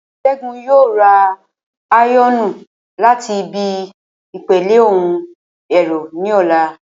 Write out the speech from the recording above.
Ṣẹ́gun yóò ra áyọ̀nù láti ibi ìpele ohun ẹ̀rọ ní ọ̀la